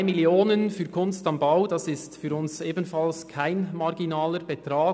1,3 Mio. Franken für «Kunst am Bau» ist für uns ebenfalls kein marginaler Betrag;